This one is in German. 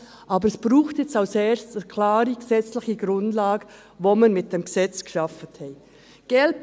Aber als Erstes braucht es jetzt eine klare gesetzliche Grundlage, die wir mit diesem Gesetz geschaffen haben.